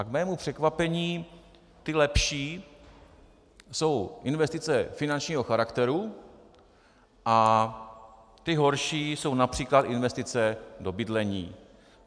A k mému překvapení ty lepší jsou investice finančního charakteru a ty horší jsou například investice do bydlení.